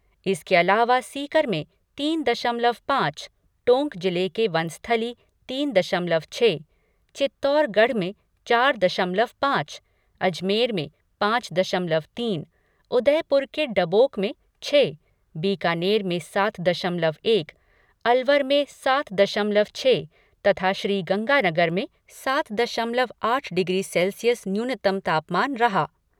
इसके अलावा सीकर में तीन दशमलव पाँच, टोंक जिले के वनस्थली में तीन दशमलव छः, चित्तौड़गढ में चार दशमलव पाँच, अजमेर में पाँच दशमलव तीन, उदयपुर के डबोक में छह, बीकानेर में सात दशमलव एक, अलवर में सात दशमलव छः तथा श्रीगंगानगर में सात दशमलव आठ डिग्री सेल्सियस न्यूनतम तापमान रहा।